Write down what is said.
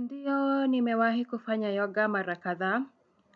Ndio, nimewahi kufanya yoga mara kadha,